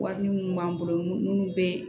Wari minnu b'an bolo n'u bɛ